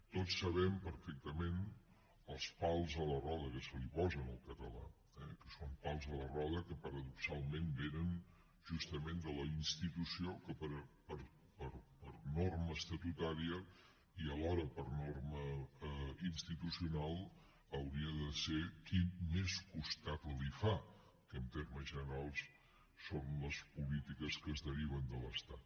tots sabem perfectament els pals a les rodes que se li posen al català eh que són pals a les rodes que paradoxalment vénen justament de la institució que per norma estatutària i alhora per norma institucional hauria de ser qui més costat li fa que en termes generals són les polítiques que es deriven de l’estat